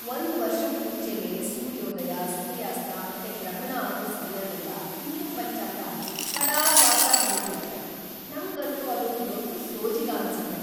ಒಂದ್ವರ್ಷಕ್ ಮುಂಚೆನೇ ಸೂರ್ಯೋದಯ, ಸೂರ್ಯಾಸ್ತ ಮತ್ತೆ ಗ್ರಹಣ ಆಗೋ ಸಮಯನೆಲ್ಲ ಹಿಂದೂ ಪಂಚಾಂಗ ಕರಾರ್‌ವಾಕ್ಕಾಗ್ ಹೇಳ್ಬಿಡತ್ತೆ, ನಂಗಂತೂ ಅದೊಂದ್ ದೊಡ್ ಸೋಜಿಗ ಅನ್ಸತ್ತೆ.